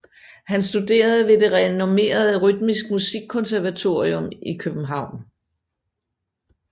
Han studerede ved det renommerede Rytmisk Musikkonservatorium i København